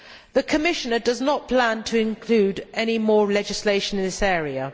The Commissioner does not plan to include any more legislation in this area.